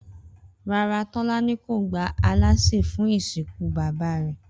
Rárá, Tó̩lání kò gba alásè fún ìsìnkú bàbá rè̩